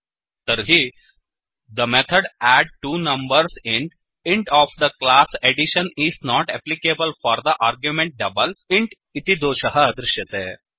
तर्हि the method add two numbers int int of the class addition is not applicable for the argument double int इति दोषं दृश्यते